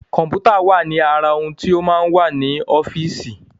Kọ̀m̀pútà wà ní ara ohun tó máa ń wà ní ọ́fíìsì.